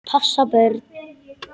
Passa börn?